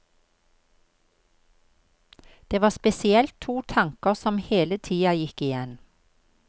Det var spesielt to tanker som hele tida gikk igjen.